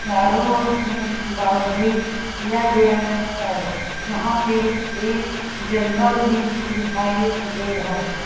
चारों ओर से बाउंड्री किया गया है यहाँ पे एक जंगल भी दिखाई दे रहा हैं।